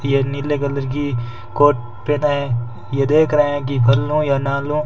यह नीले कलर की कोर्ट पहेना है ये देख रहे हैं कि भल्लो या नालो--